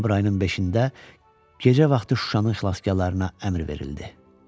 Noyabr ayının 5-də gecə vaxtı Şuşanın xilaskarlarına əmr verildi.